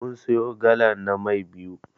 Mun siyo galan na Mai biyu.